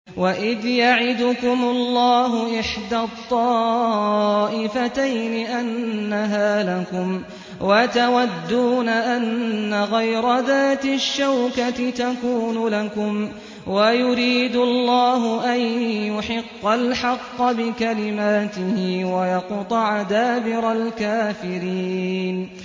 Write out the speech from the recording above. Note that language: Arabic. وَإِذْ يَعِدُكُمُ اللَّهُ إِحْدَى الطَّائِفَتَيْنِ أَنَّهَا لَكُمْ وَتَوَدُّونَ أَنَّ غَيْرَ ذَاتِ الشَّوْكَةِ تَكُونُ لَكُمْ وَيُرِيدُ اللَّهُ أَن يُحِقَّ الْحَقَّ بِكَلِمَاتِهِ وَيَقْطَعَ دَابِرَ الْكَافِرِينَ